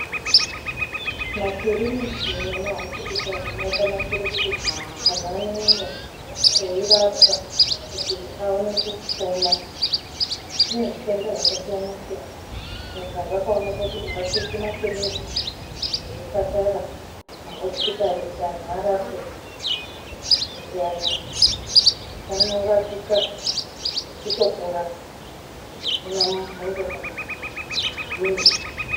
Makiriniki nemahosipitari akanakire kuti antu anoenda eirapwa kuti aone kupona, kune zvitenda zvakasiyanasiyana saka zvakoneka kuti ngakuiswe makiriniki nezvipatara mahosipitari kuti antu arapwe, ende antu anorapika vechitopora zvisina mubvunzo kana kudini.